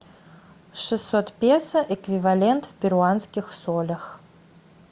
шестьсот песо эквивалент в перуанских солях